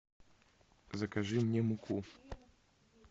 закажи мне муку